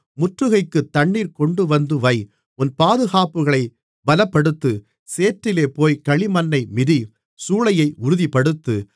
முற்றுகைக்குத் தண்ணீர் கொண்டுவந்து வை உன் பாதுகாப்புகளைப் பலப்படுத்து சேற்றிலே போய்க் களிமண்ணை மிதி சூளையை உறுதிப்படுத்து